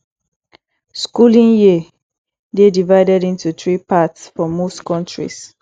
schooling year dey divided into three parts for most countries